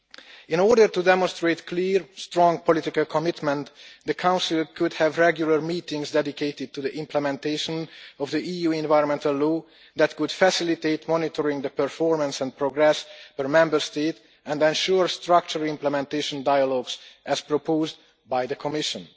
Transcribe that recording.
In order to demonstrate clear, strong political commitment, the Council could hold regular meetings dedicated to the implementation of EU environmental law which could facilitate monitoring the performance and progress of a Member State and ensure structured implementation dialogues as proposed by the Commission.